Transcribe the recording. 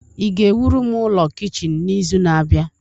ị ga-ewuru m ụlọ kichin n'izu na-abịa?